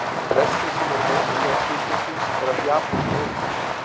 Flestir sem eru með þessa gerð sjúkdómsins eru af japönskum uppruna.